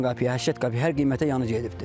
90 qəpiyə, 80 qəpiyə hər qiymətə yanı gedibdir.